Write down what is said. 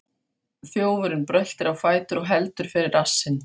Þjófurinn bröltir á fætur og heldur fyrir rassinn.